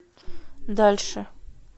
дальше